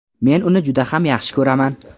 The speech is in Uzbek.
Men uni juda ham yaxshi ko‘raman”.